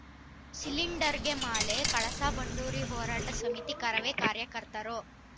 ಸಿಲಿಂಡರ್‌ಗೆ ಮಾಲೆ ಕಳಸಾಬಂಡೂರಿ ಹೋರಾಟ ಸಮಿತಿ ಕರವೇ ಕಾರ್ಯಕರ್ತರು